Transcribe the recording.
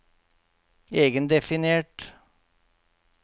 egendefinert